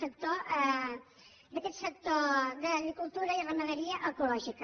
d’aquest sector d’agricultura i ramaderia ecològica